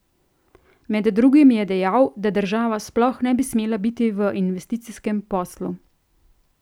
Med drugim je dejal, da država sploh ne bi smela biti v investicijskem poslu.